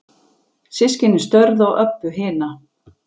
Systkinin störðu á Öbbu hina.